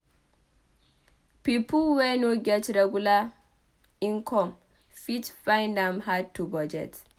Pipo wey no get regular income fit find am hard to budget